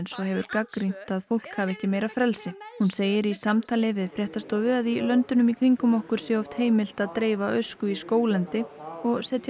og hefur gagnrýnt að fólk hafi ekki meira frelsi hún segir í samtali við fréttastofu að í löndunum í kringum okkur sé oft heimilt að dreifa ösku í skóglendi og setja